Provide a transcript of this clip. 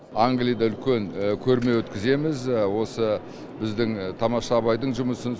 англияда үлкен көрме өткіземіз осы біздің тамаша абайдың жұмысын